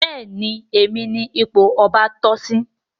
Béèni Èmi ní ipò ọba toh sí.